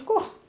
ficou.